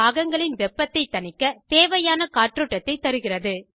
பாகங்களின் வெப்பத்தைத் தணிக்க தேவையான காற்றோட்டத்தைத் தருகிறது